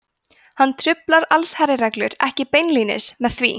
hann truflar allsherjarreglu ekki beinlínis með því